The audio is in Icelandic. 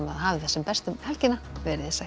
hafið það sem best um helgina veriði sæl